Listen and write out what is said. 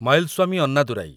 Mylswamy Annadurai